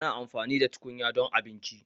Ana amfani da tukunya don abinci,